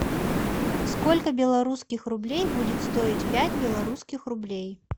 сколько белорусских рублей будет стоить пять белорусских рублей